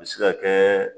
A bɛ se ka kɛ